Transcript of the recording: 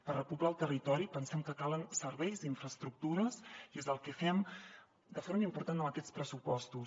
per repoblar el territori pensem que calen serveis i infraestructures i és el que fem de forma important amb aquests pressupostos